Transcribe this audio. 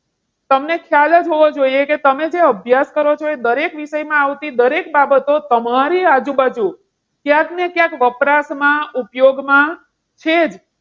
તમને ખ્યાલ જ હોવો જોઈએ કે તમે જે અભ્યાસ કરો છો. એ દરેક વિષયમાં આવતી દરેક બાબતો તમારી આજુબાજુ ક્યાંક ને ક્યાંક વપરાશમાં ઉપયોગમાં છે જ.